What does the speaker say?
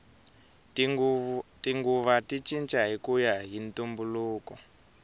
tinguva ti cinca hikuya hi ntumbuluko